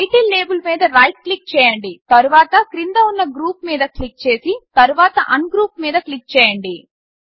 title label మీద right click చేయండి తర్వాత క్రింద ఉన్న గ్రూప్ మీద క్లిక్ చేసి తర్వాత అన్గ్రూప్ మీద క్లిక్ చేయండి